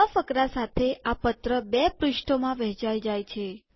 નવા ફકરા સાથે આ પત્ર બે પૃષ્ઠોમાં વહેચાય જાય છે